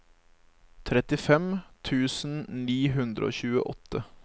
trettifem tusen ni hundre og tjueåtte